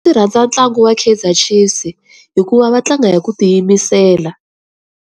Ndzi rhandza ntlangu wa Kaizer Chiefs hikuva va tlanga hi ku ti yimisela.